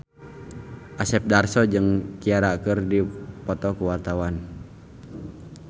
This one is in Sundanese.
Asep Darso jeung Ciara keur dipoto ku wartawan